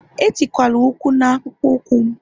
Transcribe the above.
Etikwala ụkwụ akpụkpọ ụkwụ m